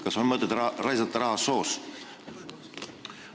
Kas on mõtet raisata raha soos?